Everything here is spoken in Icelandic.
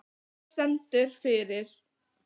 Þetta stendur fyrir